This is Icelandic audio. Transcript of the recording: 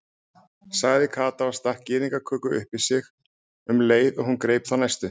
sagði Kata og stakk gyðingaköku upp í sig um leið og hún greip þá næstu.